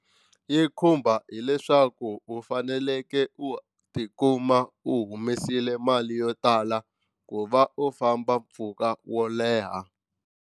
Yi khumba hileswaku u fanekele u tikuma u humesile mali yo tala ku va u famba mpfhuka wo leha.